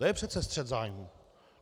To je přece střet zájmů.